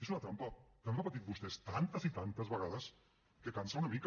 és una trampa que han repetit vostès tantes i tantes vegades que cansa una mica